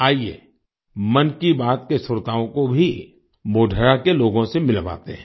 आइये मन की बात के श्रोताओं को भी मोढेरा के लोगों से मिलवाते हैं